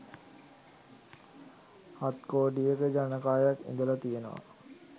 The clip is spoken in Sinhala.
හත් කෝටියක ජනකායක් ඉඳලා තියෙනවා.